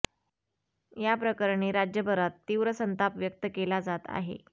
या प्रकरणी राज्यभरात तीव्र संताप व्यक्त केला जात आहे